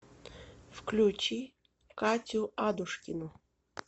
включи катю адушкину